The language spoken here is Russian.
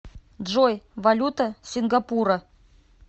джой валюта сингапура